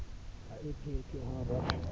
ha e phethwe ha ba